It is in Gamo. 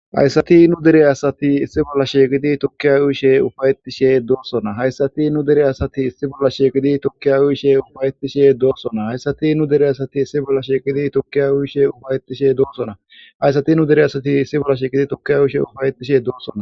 Hayssati nu dere asati issi bolla sheeqidi tokkiya uyishe ufayetishe doossona hayssati nu dere asati issi bolla sheekidi tokkiya uyishe ufayetishe doossona hayssati nu dere asati issi bolla sheeqidi tokkiya uyishe ufayetishe doossona hayssati nu dere asati issi bolla sheekidi tokkiya uyishe ufayetishe doossona